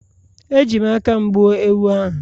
Eji m aka m gbuo ewu ahụ